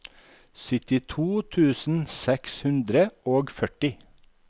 syttito tusen seks hundre og førti